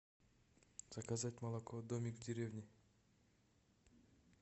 заказать молоко домик в деревне